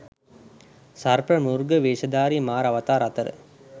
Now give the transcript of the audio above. සර්ප, මෘග වේශධාරි මාර අවතාර අතර